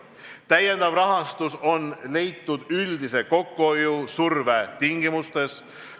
Lisarahastus on leitud üldise kokkuhoiu surve tingimustes.